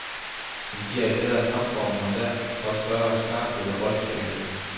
Men de er i bedre kampform og har derfor større skarphed og boldsikkerhed.